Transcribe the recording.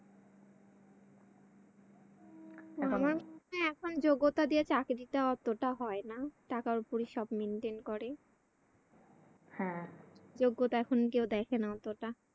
হ্যাঁ এখন যোগ্যতা দিয়ে চাকরিটা এতটা হয়না টাকার উপরি সব maintain করে। যোগ্যতা এখন কেউ দেখেনা এতটা